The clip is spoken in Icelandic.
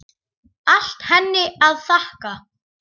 Allt henni að þakka.